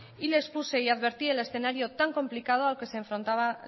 y les puse y advertí el escenario tan complicado al que se afrontaba